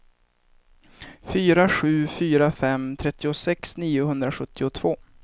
fyra sju fyra fem trettiosex niohundrasjuttiotvå